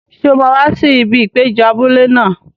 Ṣé o máa wá sí ibi ìpéjọ abúlé náà?